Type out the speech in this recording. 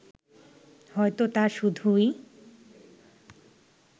হয়তো তা শুধুই